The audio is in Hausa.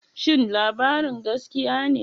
Shin labarin gaskiya ne?